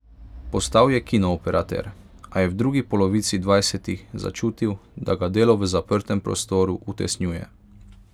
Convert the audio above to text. Postal je kinooperater, a je v drugi polovici dvajsetih začutil, da ga delo v zaprtem prostoru utesnjuje.